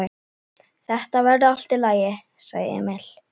Þetta verður allt í lagi, sagði Emil.